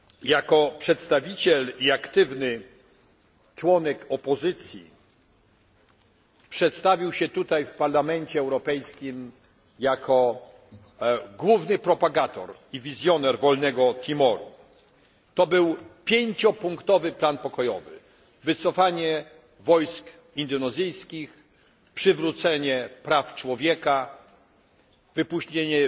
Jako przedstawiciel i aktywny członek opozycji przedstawił się tutaj w Parlamencie Europejskim jako główny propagator i wizjoner wolnego Timoru. To był pięciopunktowy plan pokojowy wycofanie wojsk indonezyjskich, przywrócenie praw człowieka, wypuszczenie